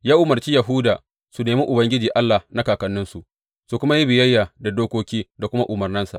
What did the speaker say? Ya umarci Yahuda su nemi Ubangiji Allah na kakanninsu, su kuma yi biyayya da dokoki da kuma umarnansa.